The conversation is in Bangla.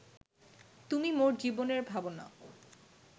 তুমি মোর জীবনের ভাবনা